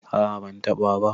a a bantaba ba